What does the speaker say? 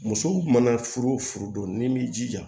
Musow mana furu wo furu don ni m'i jija